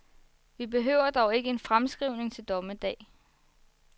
Vi behøver dog ikke en fremskrivning til dommedag.